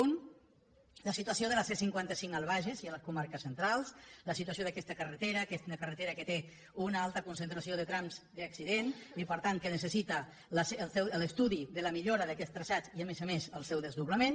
un la situació de la c cinquanta cinc al bages i a les comarques centrals la situació d’aquesta carretera que és una carretera que té una alta concentració de trams d’accidents i per tant que necessita l’estudi de la millora d’aquests traçats i a més a més el seu desdoblament